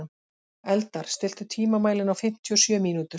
Eldar, stilltu tímamælinn á fimmtíu og sjö mínútur.